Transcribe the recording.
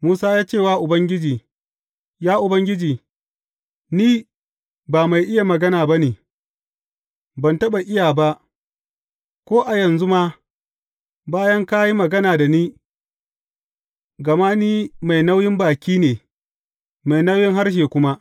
Musa ya ce wa Ubangiji, Ya Ubangiji, ni ban mai iya magana ba ne, ban taɓa iya ba, ko a yanzu ma, bayan ka yi magana da ni, gama ni mai nauyin baki ne, mai nauyin harshe kuma.